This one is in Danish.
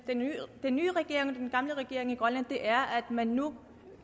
den nye regering og den gamle regering i grønland er at man nu